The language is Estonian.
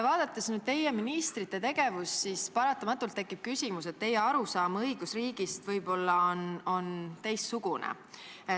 Vaadates teie valitsuse ministrite tegevust, siis paratamatult tekib küsimus, et teie arusaam õigusriigist on võib-olla teistsugune.